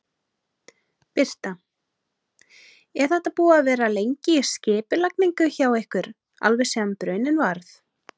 Birta: Er þetta búið að vera lengi í skipulagningu hjá ykkur, alveg síðan bruninn varð?